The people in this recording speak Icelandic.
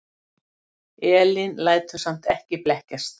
Elín lætur samt ekki blekkjast.